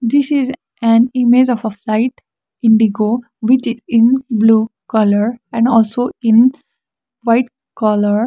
this is an image of a flight indigo which is in blue colour and also in white colour.